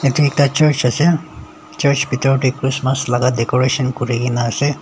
toi ekta church ase church bithor teh christmas laga decoration kuri ke na ase.